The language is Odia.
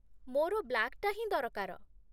ମୋର ବ୍ଲାକ୍‌ଟା ହିଁ ଦରକାର ।